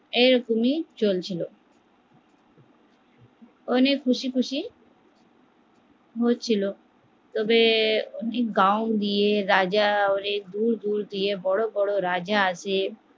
এরকমই চলছিল উনি খুশি খুশি ছিল তবে গাও দিয়ে রাজা ওদের ভুল বুযিয়ে বড় বড় রাজা আছে